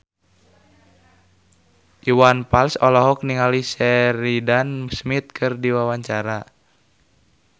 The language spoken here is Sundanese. Iwan Fals olohok ningali Sheridan Smith keur diwawancara